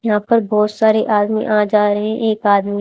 यहां पर बहोत सारे आदमी आ जा रहे है। एक आदमी--